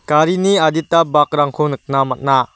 garini adita bakrangko nikna man·a.